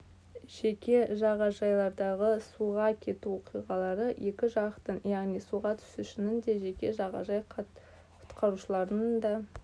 жеке жағажайлардағы суға кету оқиғалары екі жақтың яғни суға түсушінің де жеке жағажай құтқарушыларының да